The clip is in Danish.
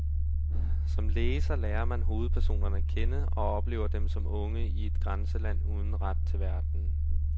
Som læser lærer man hovedpersonerne at kende og oplever dem som unge i et grænseland uden ret til verden.